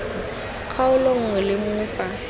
kgaolo nngwe le nngwe fa